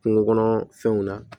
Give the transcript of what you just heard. Kungo kɔnɔfɛnw na